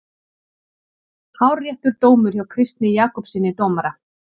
Hárréttur dómur hjá Kristni Jakobssyni dómara.